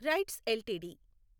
rights LTD